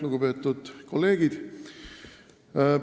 Lugupeetud kolleegid!